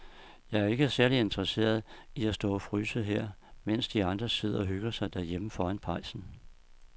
Jeg er ikke særlig interesseret i at stå og fryse her, mens de andre sidder og hygger sig derhjemme foran pejsen.